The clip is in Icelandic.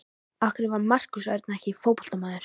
Af hverju var Markús Örn ekki fótboltamaður?